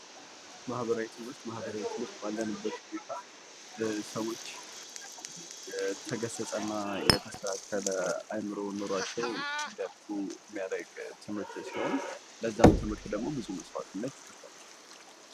ማህበራዊ ትምህርት፦ ማህበራዊ ትምህርት ባለንበት ሁኔታ ሰዎች የተገሰጸና የተስተካከለ አይምሮ ኑሯቸው እንዲያድግ የሚያደርግ ትምህርት ሲሆን ፤ ለዛም ትምህርት ደግሞ ብዙ መስዋዕትነት ይከፈላል።